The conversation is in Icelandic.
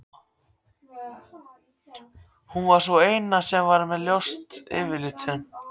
Hún var sú eina sem var ljós yfirlitum.